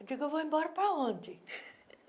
Eu digo, eu vou embora para onde?